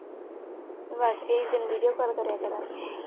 ਤੈਨੂੰ video call ਕਰਿਆ ਕਰਾਂਗੀ।